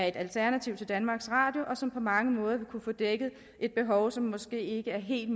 et alternativ til danmarks radio og som på mange måder vil kunne dække et behov som det måske ikke helt